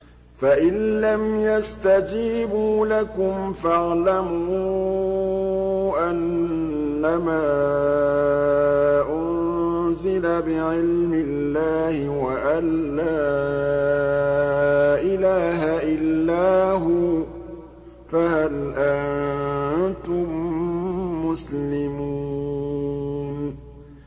فَإِلَّمْ يَسْتَجِيبُوا لَكُمْ فَاعْلَمُوا أَنَّمَا أُنزِلَ بِعِلْمِ اللَّهِ وَأَن لَّا إِلَٰهَ إِلَّا هُوَ ۖ فَهَلْ أَنتُم مُّسْلِمُونَ